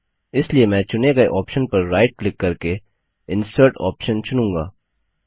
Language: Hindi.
इसलिए मैं चुनें गए ऑप्शन पर राइट क्लिक करके इंसर्ट ऑप्शन चुनूँगा